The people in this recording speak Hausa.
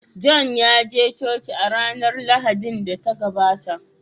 john yaje coci a ranar Lahadin da ta gabata